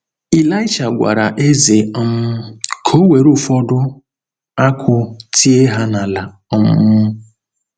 Ịlaịsha gwara eze um ka o were ụfọdụ akụ́ tie ha n’ala um.